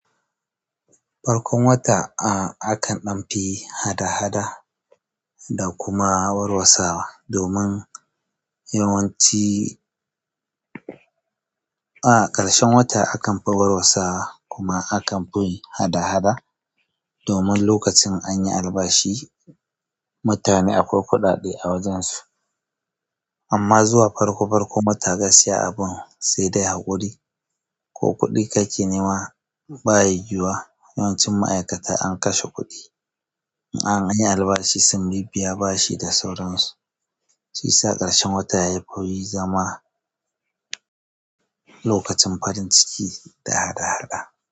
Farkon wata a-akan ɗan fi hada-hada da kuma warwasawa domin yawanci. A ƙarshen wata akan fi warwasawa kuma akan fi hada-hada domin lokacin an yi albashi mutane akwai kuɗaɗe a wajen su. Amma zuwa farko farkon wata gaskiya abun sai dai haƙuri ko kuɗi ka ke nema baya yuyuwa. Yawanci ma'aikata an kashe kuɗi. An yi albashi sun bibbiya bashi da sauransu. Shiyasa ƙarshen wata yafi zama. Lokacin farin ciki da haɗa haɗa.